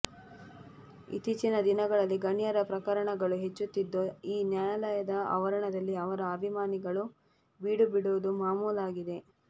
ಇತ್ತೀಚಿನ ದಿನಗಳಲ್ಲಿ ಗಣ್ಯರ ಪ್ರಕರಣಗಳು ಹೆಚ್ಚುತ್ತಿದ್ದು ಈ ನ್ಯಾಯಾಲಯದ ಆವರಣದಲ್ಲಿ ಅವರ ಅಭಿಮಾನಿಗಳು ಬೀಡು ಬಿಡುವುದು ಮಾಮೂಲಾಗಿದೆ